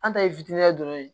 An ta ye fitini ye dɔrɔn